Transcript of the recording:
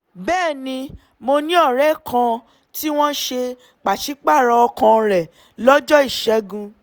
bẹ́ẹ̀ ni mo ní ọ̀rẹ́ kan tí wọ́n ṣe pàṣípààrọ̀ ọkàn rẹ̀ lọ́jọ́ ìṣẹ́gun